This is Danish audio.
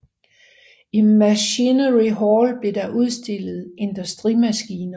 I Machinery Hall blev der udstillet Industrimaskiner